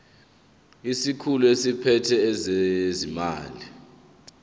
isikhulu esiphethe ezezimali